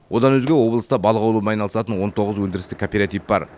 одан өзге облыста балық аулаумен айналысатын он тоғыз өндірістік кооператив бар